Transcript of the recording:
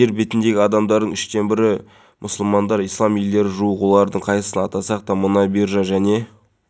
сауд арабиясында имамдарды жаппай жұмыстан қысқарту жүріп жатыр биліктің бұл шешімімен мың имамды жұмысынан шығарылса шамамен млн сауд риалын үнемдеуге мүмкіндік